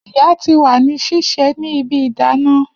Iya ti wa ni sise ni ibi idana